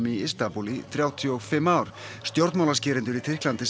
í Istanbúl í þrjátíu og fimm ár stjórnmálaskýrendur í Tyrklandi